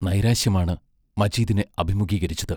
നൈരാശ്യമാണ് മജീദിനെ അഭിമുഖീകരിച്ചത്.